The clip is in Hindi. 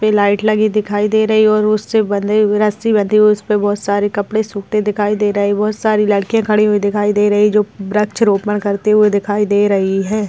इस पर लाइट लगी हुई दिखाई दे रही है और उस बंधे हुई रस्सी बंधी हुई है उस पे बहुत सारे कपड़े सूखते दिखाई दे रहे बहुत सारी लड़कियां खड़ी हुई दिखाई दे रही जो वृक्षारोपण करती हुई दिखाई दे रही हैं।